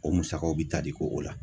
O musakaw bi tali k'o o la